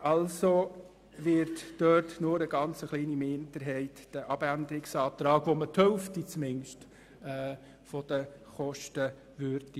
Also wird nur eine kleine Minderheit den Planungserklärungen zustimmen, mit welchen zumindest die Hälfte der Kosten gespart würde.